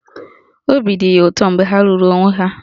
Obi dị ya ụtọ mgbe ha lụrụ onwe ha.